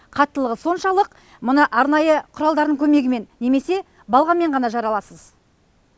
қаттылығы соншалық мұны арнайы құралдардың көмегімен немесе балғамен ғана жара аласыз